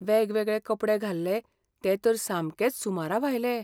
वेगवेगळे कपडे घाल्ले ते तर सामकेच सुमराभायले.